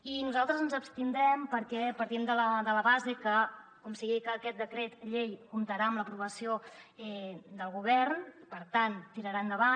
i nosaltres ens hi abstindrem perquè partim de la base que com sigui que aquest decret llei comptarà amb l’aprovació del govern i per tant tirarà endavant